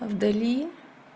в дали